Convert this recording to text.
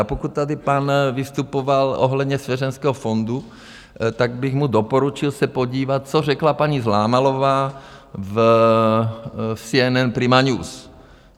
A pokud tady pan vystupoval ohledně svěřeneckého fondu, tak bych mu doporučil se podívat, co řekla paní Zlámalová v CNN Prima News.